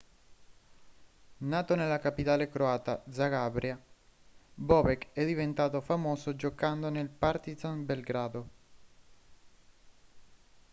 nato nella capitale croata zagabria bobek è diventato famoso giocando nel partizan belgrado